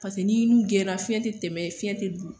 Paseke n'i nun geren la , fiɲɛ te tɛmɛ fiɲɛ te don.